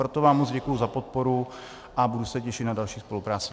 Proto vám moc děkuju za podporu a budu se těšit na další spolupráci.